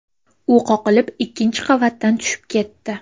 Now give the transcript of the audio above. U qoqilib, ikkinchi qavatdan tushib ketdi.